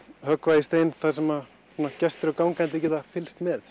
höggva í stein og gestir og gangandi geta fylgst með